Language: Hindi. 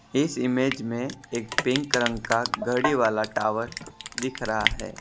इस इमेज में एक पिंक रंग का घड़ी वाला टावर दिख रहा है।